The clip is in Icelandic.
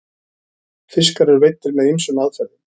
fiskar eru veiddir með ýmsum aðferðum